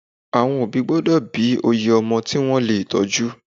Àwọn òbí gbọ́dọ̀ bí oye ọmọ tí wọ́n lè tọ́jú.